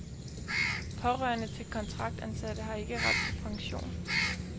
Pårørende til kontraktansatte har ikke ret til pension.